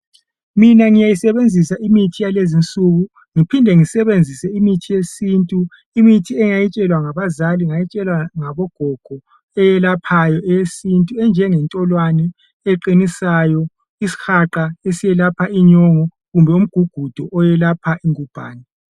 Mina ngiyayisebenzisa imithi yalezi nsuku ngiphinde ngisebenzise imithi yesintu imithi engayitshelwa ngabazali ngayitshelwa ngabogogo eyelaphayo eyesintu enjenge ntolwani eqinisayo isihaqa esiyelapha inyongo kumbe umgugudu oyelapha ingubhani.